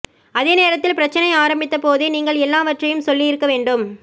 அதே நேரத்தில் பிரச்னை ஆரம்பித்தபோதே நீங்கள் எல்லாவற்றையும் சொல்லி இருக்க வேண்டும்